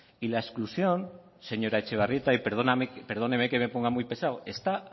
y la exclusión señora etxebarrieta y perdóneme que me ponga muy pesado está